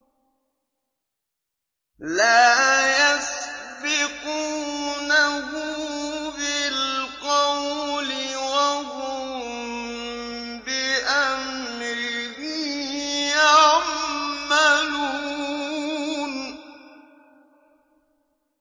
لَا يَسْبِقُونَهُ بِالْقَوْلِ وَهُم بِأَمْرِهِ يَعْمَلُونَ